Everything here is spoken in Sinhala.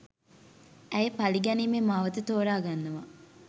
ඇය පළිගැනීමේ මාවත තෝරාගන්නවා